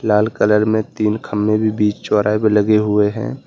लाल colour में तीन खंबे भी बीच चौराहे पर लगे हुए हैं।